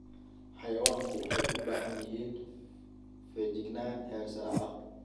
Xayawaanku waxay u baahan yihiin feejignaan heer sare ah.